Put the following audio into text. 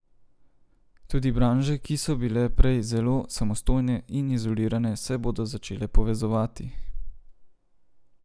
Tudi branže, ki so bile prej zelo samostojne in izolirane, se bodo začele povezovati.